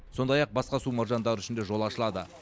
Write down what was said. сондай ақ басқа су маржандары үшін де жол ашылады